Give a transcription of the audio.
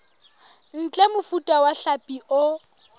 ntle mofuta wa hlapi o